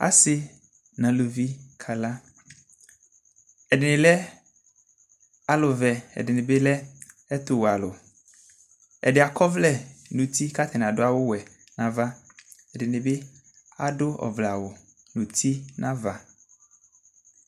Asɩ nʋ alʋvɩ kala ɛdɩnɩ lɛ alʋvɛ kʋ ɛdɩnɩbɩ lɛ ɛtʋwɛ alʋ ɛdɩ akɔ ɔvlɛ nʋ uti kʋ adʋ awʋwɛ nʋ ava kʋ ɛdɩnɩbɩ adʋ ɔvlɛawʋ nʋ uti nʋ ava